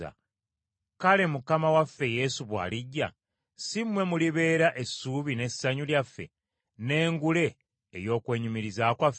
Kale Mukama waffe Yesu bw’alijja, si mmwe mulibeera essuubi n’essanyu lyaffe, n’engule ey’okwenyumiriza kwaffe?